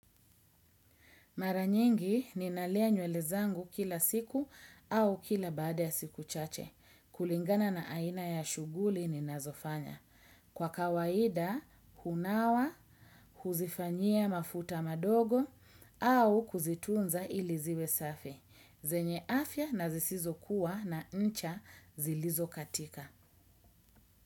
Mara nyingi ninalia nywele zangu kila siku au kila baada ya siku chache. Kulingana na aina ya shuguli ninazofanya. Kwa kawaida, hunawa, huzifanyia mafuta madogo au kuzitunza iliziwe safi. Zenye afya na zisizo kuwa na ncha zilizo katika.